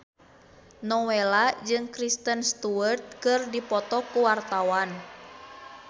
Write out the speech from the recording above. Nowela jeung Kristen Stewart keur dipoto ku wartawan